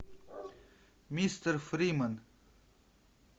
мистер фриман